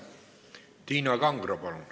Tiina Kangro, palun!